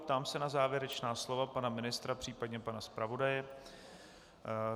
Ptám se na závěrečná slova pana ministra, případně pana zpravodaje.